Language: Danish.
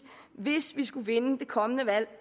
hvis vi skulle vinde det kommende valg og